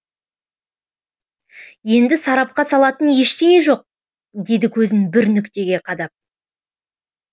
енді сарапқа салатын ештеңе жоқ деді көзін бір нүктеге қадап